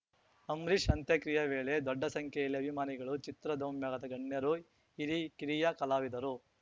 ಅಂಬ್ರೀಷ್‌ ಅಂತ್ಯಕ್ರಿಯೆ ವೇಳೆ ದೊಡ್ಡ ಸಂಖ್ಯೆಯಲ್ಲಿ ಅಭಿಮಾನಿಗಳು ಚಿತ್ರೋದೋಮ್ಯದ ಗಣ್ಯರು ಹಿರಿಕಿರಿಯ ಕಲಾವಿದರು